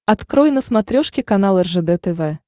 открой на смотрешке канал ржд тв